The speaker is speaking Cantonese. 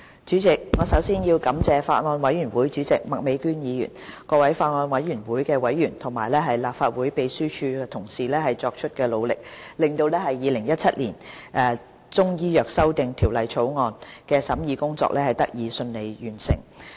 主席，我首先要感謝法案委員會主席麥美娟議員、法案委員會各委員和立法會秘書處同事作出的努力，令《2017年中醫藥條例草案》的審議工作得以順利完成。